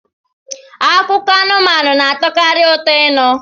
Akụkọ anụmanụ na-atọkarị ụtọ ịnụ